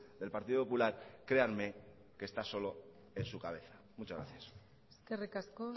del partido popular créanme que está solo en su cabeza muchas gracias eskerrik asko